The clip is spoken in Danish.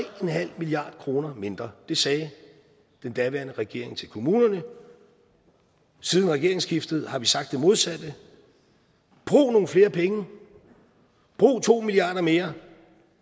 milliard kroner mindre det sagde den daværende regering til kommunerne siden regeringsskiftet har vi sagt det modsatte brug nogle flere penge brug to milliard kroner mere